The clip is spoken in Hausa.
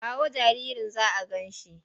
Kawo jaririn za a gan shi!